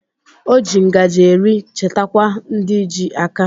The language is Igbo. O ji ngaji eri chetakwa ndi ji aka